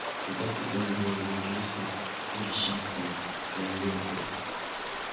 когда-то он был юристом прежде чем стал калекой